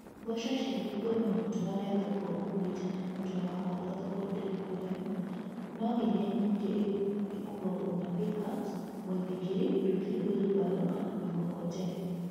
Mboco ciagethwo no itwarwo thoko ũkuĩte na mũtwe wakorwo thoko ndĩrĩ kũraihu, No iria nyingĩ ikuagwo na pickups, mũithikiri, nduthi, wheelbarrow kana mĩkokoteni